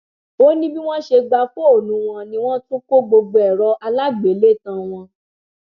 ó ní bí wọn ṣe gba fóònù wọn ni wọn tún kọ gbogbo ẹrọ aláàgbélétan wọn